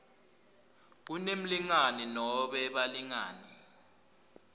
kunemlingani nobe balingani